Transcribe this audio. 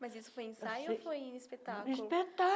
Mas isso foi ensaio ou foi espetáculo?